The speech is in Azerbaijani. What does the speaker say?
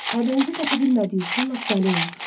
Aybənizi tapa bilmədiyi üçün lap dəli olmuşdu.